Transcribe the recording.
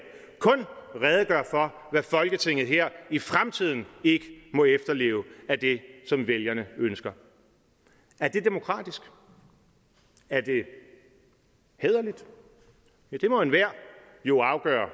kun redegøre for hvad folketinget her i fremtiden ikke må efterleve af det som vælgerne ønsker er det demokratisk er det hæderligt ja det må enhver jo afgøre